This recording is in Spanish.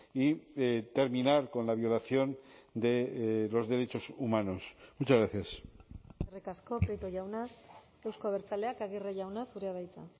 y terminar con la violación de los derechos humanos muchas gracias eskerrik asko prieto jauna euzko abertzaleak aguirre jauna zurea da hitza